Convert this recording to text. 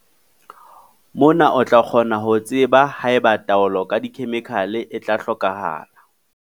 Mona o tla kgona ho tseba ha eba taolo ka dikhemikhale e tla hlokahala.